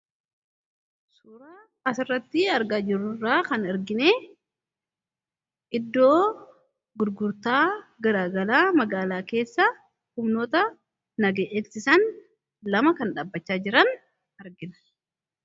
Suuraa as irratti argaa jirru kana irraa kan arginee, iddoo gurgurtaa garaa garaa, magaalaa keessa humnoota nageenyaa eegsisan lama kan dhabbachaa jiran argina.